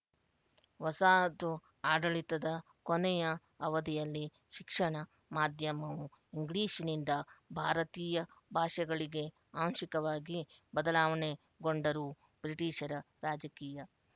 ವಸಾಹತು ಆಡಳಿತದ ಕೊನೆಯ ಅವಧಿಯಲ್ಲಿ ಶಿಕ್ಷಣ ಮಾಧ್ಯಮವು ಇಂಗ್ಲಿಶ್ನಿಂದ ಭಾರತೀಯ ಭಾಷೆಗಳಿಗೆ ಆಂಶಿಕವಾಗಿ ಬದಲಾವಣೆ ಗೊಂಡರೂ ಬ್ರಿಟಿಶರ ರಾಜಕೀಯ